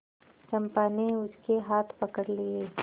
चंपा ने उसके हाथ पकड़ लिए